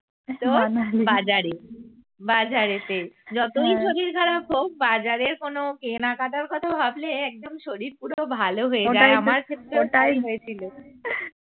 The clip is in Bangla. তোর বাজারে বাজারেতে যতই শরীর খারপ হোক বাজারে কোনো কেনাকাটার কথা ভাবলে একদম শরীর পুরো ভালো হয়ে যায় তাই হয়েছিল।